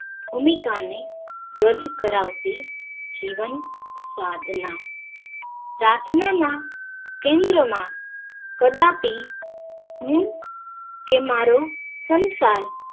ભૂમિકા ને રજૂ કરાવતી જીવન સાધના પ્રાર્થના ના કેન્દ્ર માં કદાપી હું કે મારો સંસાર